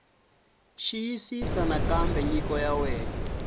xiyisisisa nakambe nyiko ya wena